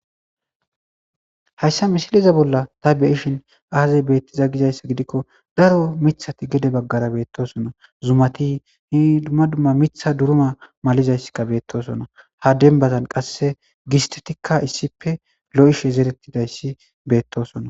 Hayssa misiliza bolla ta beyishin aazey beettiza gizayssa gidikko daro mithati gede baggara beettosona zumati hi dumma dumma mitha duruma malizayssikka beettosona ha dembazan qasse gistetikka issipe lo'ishe zerettidayssi beettosona.